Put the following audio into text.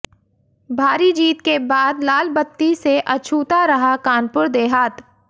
भारी जीत के बाद लाल बत्ती से अछूता रहा कानपुर देहात